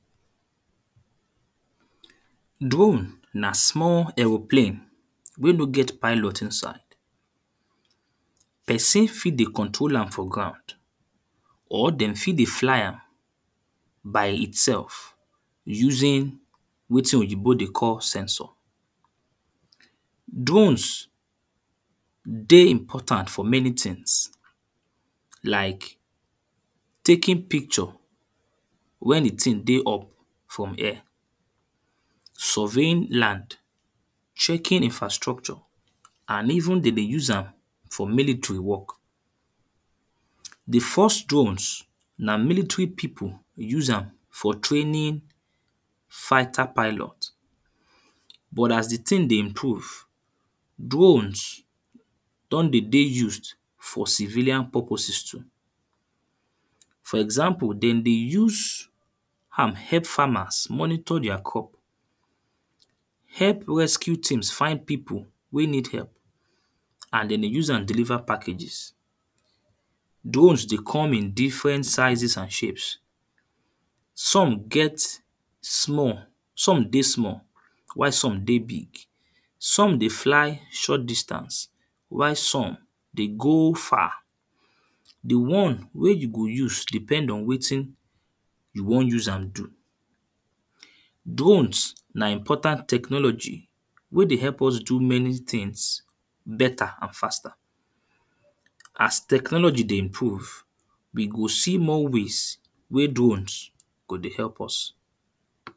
Drone, na small aeroplane wey no get pilot inside. Person fit dey control am for ground or then fit dey fly am by itself using wetin oyinbo dey call censor. Drones dey important for many things, like taking picture when the thing dey up from air, surveying land, checking infrastructure and even then dey use am for military work. The first drones, na military people use am for training fighter pilot, but as the thing dey improve, drones don dey dey used for civilian purposes too. For example, then dey use am help farmers monitor their crops, help rescue team find people wey need help and then dey use am deliver people packages. Drones dey come in different sizes and shapes. Some get small, some dey small while some dey big. Some dey fly short distance while some dey go far. The one wey you go use depend on wetin you wan use am do. Drones na important technology wey dey help us do many things better and faster. As technology dey improve, we go see more ways wey drones go dey help us.